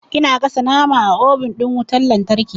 Ina gasa nama a obin ɗin wutan lantarki.